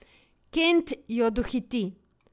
Kent jo dohiti.